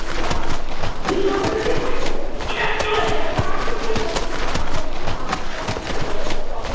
এইবার আমার যখন পাঁচ ছ বছর বয়েস তখন